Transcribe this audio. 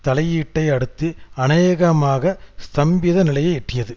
தலையீட்டை அடுத்து அநேகமாக ஸ்தம்பித நிலையை எட்டியது